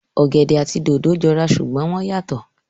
Ọ̀gẹ̀dẹ̀ àti dòdò jọ ra ṣùgbọ́n wọ́n yàtọ̀